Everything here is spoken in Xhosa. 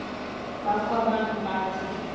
bakho abantu abathi